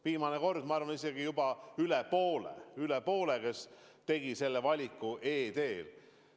Viimane kord, ma arvan, isegi juba üle poole inimestest tegi valiku e-teel.